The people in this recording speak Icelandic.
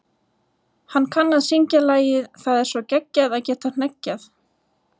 Hann kann að syngja lagið Það er svo geggjað að geta hneggjað.